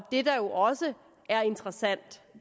det der jo også er interessant